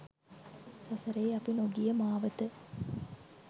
සසරේ අපි නොගිය මාවත